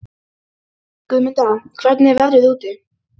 Guðmunda, hvernig er veðrið úti?